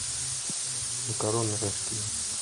макароны рожки